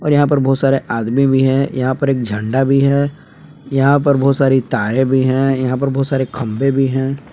और यहां पर बहुत सारे आदमी भी हैं यहां पर एक झंडा भी है यहां पर बहुत सारी तारें भी हैं यहां पर बहुत सारे खंभे भी हैं।